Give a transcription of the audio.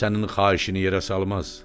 Sənin xahişini yerə salmaz.